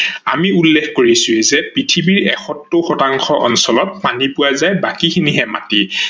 আমি উল্লেখ কৰিছোৱেই যে পৃথিৱীৰ এষৌত্তৰ শতাংশ অঞ্চলত পানী পোৱা যায় বাকী খিনিহে মাটি